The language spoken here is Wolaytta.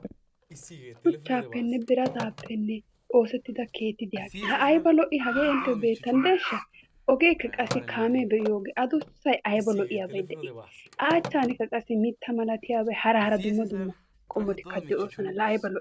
Shuchchaappenne birataappenne oosettida keetti diyagee la ayba lo'ii hagee intteyyo beettanddeeshsha. Ogeekka qassi kaamee biyo ogee adussayi ayba lo'iyabayi de"Ii. A achchaanikka qassi mitta malatiyabata hara hara dumma dumma qommotikka de'oosona. La ayba lo'ii!